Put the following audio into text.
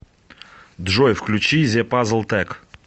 джой включи зе пазл тек